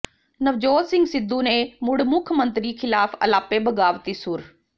ਨਵਜੋਤ ਸਿੰਘ ਸਿੱਧੂ ਨੇ ਮੁੜ ਮੁੱਖ ਮੰਤਰੀ ਖ਼ਿਲਾਫ਼ ਅਲਾਪੇ ਬਗ਼ਾਵਤੀ ਸੁਰ